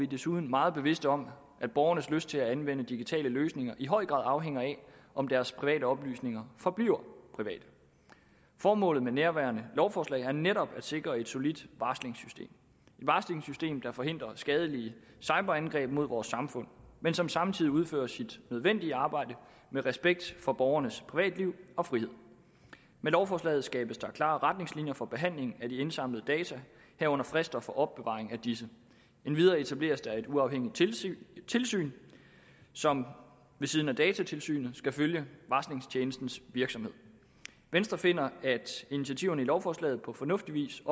desuden meget bevidste om at borgernes lyst til at anvende digitale løsninger i høj grad afhænger af om deres private oplysninger forbliver private formålet med nærværende lovforslag er netop at sikre et solidt varslingssystem der forhindrer skadelige cyberangreb mod vores samfund men som samtidig udfører sit nødvendige arbejde med respekt for borgernes privatliv og frihed med lovforslaget skabes der klare retningslinjer for behandling af de indsamlede data herunder frister for opbevaring af disse endvidere etableres der et uafhængigt tilsyn tilsyn som ved siden af datatilsynet skal følge varslingstjenestens virksomhed venstre finder at initiativerne i lovforslaget på fornuftig vis